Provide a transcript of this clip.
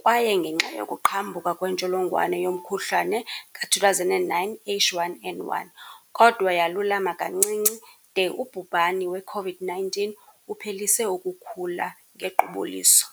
kwaye ngenxa yokuqhambuka kwentsholongwane yomkhuhlane ka-2009 H1N1, kodwa yalulama kancinci de ubhubhani we-COVID-19 uphelise ukukhula ngequbuliso.